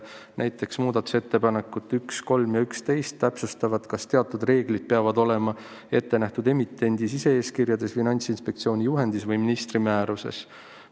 Näiteks muudatusettepanekud 1, 3 ja 11 täpsustavad, kas teatud reeglid peavad olema ette nähtud emitendi sise-eeskirjades, Finantsinspektsiooni juhendis või ministri määruses.